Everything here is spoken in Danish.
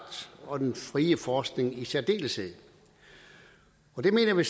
og den frie forskning i særdeleshed og det mener vi